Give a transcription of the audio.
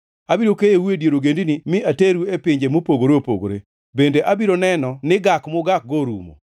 Abiro keyou e dier ogendini mi ateru e pinje mopogore opogore; bende abiro neno ni gak mugakgo orumo.